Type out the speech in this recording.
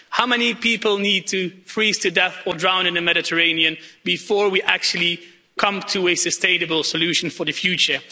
How many people need to freeze to death or drown in the Mediterranean before we actually come to a sustainable solution for the future?